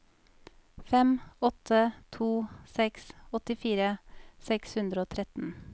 fem åtte to seks åttifire seks hundre og tretten